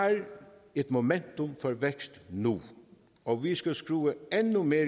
et momentum for vækst nu og vi skal skrue endnu mere